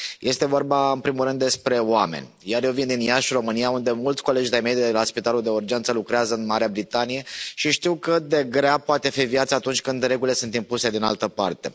Este vorba în primul rând despre oameni, iar eu vin din Iași, România, unde mulți colegi de ai mei de la Spitalul de Urgență lucrează în Marea Britanie și știu cât de grea poate fi viața atunci când regulile sunt impuse din altă parte.